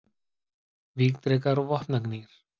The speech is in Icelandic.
Vígdrekar og vopnagnýr.